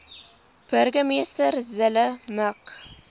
burgemeester zille mik